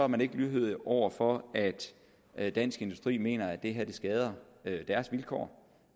man ikke er lydhør over for at dansk industri mener at det her skader deres vilkår